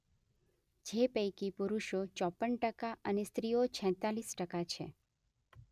જે પૈકી પુરુષો ચોપ્પન ટકા અને સ્ત્રીઓ છેતાલીસ ટકા છે.